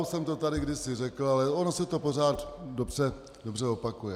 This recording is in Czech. Už jsem to tady kdysi řekl, ale ono se to pořád dobře opakuje.